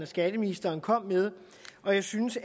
skatteministeren kom med og jeg synes